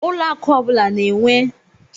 Ụlọ akụ ọ bụla na Naijiria na-enwe onye njikwa ụlọ akụ